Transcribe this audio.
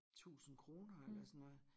Tusind kroner eller sådan noget